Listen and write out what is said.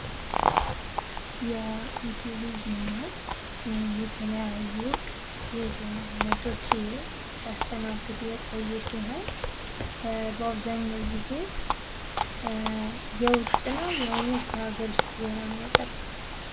የኢቲቪ ዜና የተለያዩ የዜና አይነትች ሲያስተናግድ የቆየ ሲሆን በአብዛኛው ጊዜ የዉጭ ነው ወይስ የሃገር ዉስጥ ዜና የሚያቀርበው?